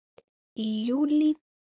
Í júlí